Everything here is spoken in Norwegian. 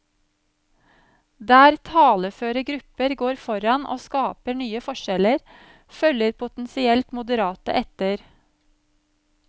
Der taleføre grupper går foran og skaper nye forskjeller, følger potensielt moderate etter.